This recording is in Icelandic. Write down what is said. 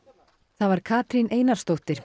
það var Katrín Einarsdóttir